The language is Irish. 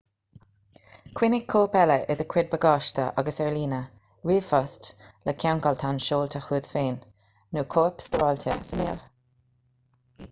coinnigh cóip eile i do chuid bagáiste agus ar líne ríomhphost le ceangaltán seolta chugat féin nó cóip stóráilte sa néal"